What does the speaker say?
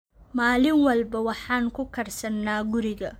Maalin walba waxaan ku karsannaa guriga.